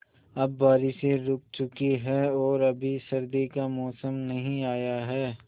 अब बारिशें रुक चुकी हैं और अभी सर्दी का मौसम नहीं आया है